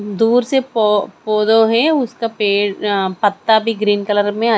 दूर से पौ पौधों हैं उसका पेड़ अं पत्ता भी ग्रीन कलर में--